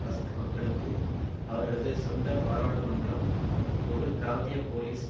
பஸ்க் மக்களுக்கு அவர்களது சொந்த பாராழுமன்றம் ஒரு பிராந்திய போலிஸ்